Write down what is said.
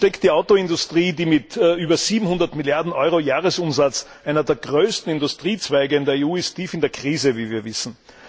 Nun steckt die Automobilindustrie, die mit über 700 Milliarden Euro Jahresumsatz einer der größten Industriezweige in der EU ist, tief in der Krise, wie wir wissen.